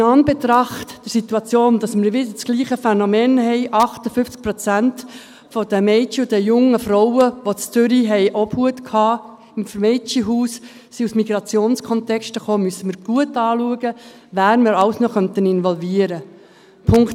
In Anbetracht der Situation, dass wir wieder dasselbe Phänomen haben – 58 Prozent der Mädchen und jungen Frauen, die in Zürich im Mädchenhaus Obhut hatten, kamen aus Migrationskontexten –, müssen wir gut anschauen, wen wir alles noch involvieren könnten.